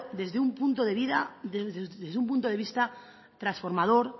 desde un punto de vista transformador